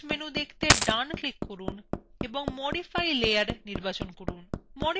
context menu দেখতে ডানclick করুন এবং মডিফাই layer নির্বাচন করুন